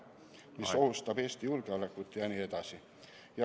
See ohustab Eesti julgeolekut jne.